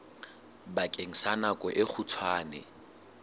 bakeng sa nako e kgutshwane